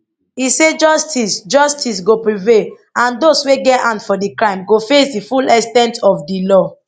e say justice say justice go prevail and those wey get hand for di crime go face di full ex ten t of di law